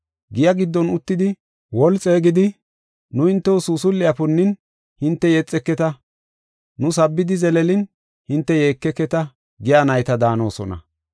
Giya giddon uttidi woli xeegidi, ‘Nu hintew suusul7e punnin, hinte yexeketa. Nu sabbidi zeleelin, hinte yeekeketa’ giya nayta daanosona.